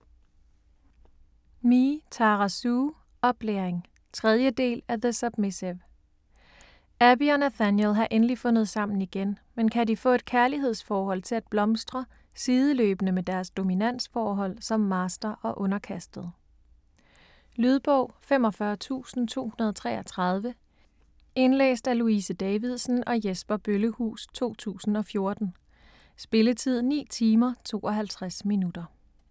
Me, Tara Sue: Oplæring 3. del af The submissive. Abby og Nathaniel har endelig fundet sammen igen, men kan de få et kærlighedsforhold til at blomstre sideløbende med deres dominansforhold som master og underkastet? Lydbog 45233 Indlæst af Louise Davidsen og Jesper Bøllehus, 2014. Spilletid: 9 timer, 52 minutter.